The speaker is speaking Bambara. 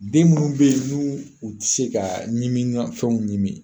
Den munnu bɛ ye n'u u tɛ se ka ɲimini mafɛnw ɲimin